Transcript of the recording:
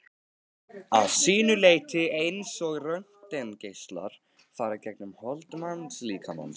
að sínu leyti eins og röntgengeislar fara gegnum hold mannslíkamans.